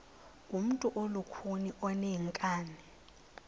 ngumntu olukhuni oneenkani